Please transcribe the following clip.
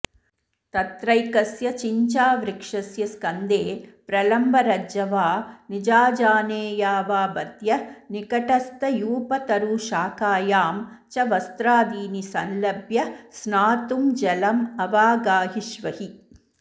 तत्रैकस्य चिञ्चावृक्षस्य स्कन्धे प्रलम्बरज्ज्वा निजाऽऽजानेयावाबध्य निकटस्थयूपतरुशाखायां च वस्त्रादीनि संलम्ब्य स्नातुं जलमवागाहिष्वहि